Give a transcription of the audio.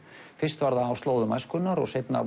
fyrst var það á slóðum æskunnar og seinna